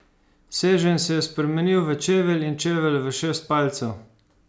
Seženj se je spremenil v čevelj in čevelj v šest palcev.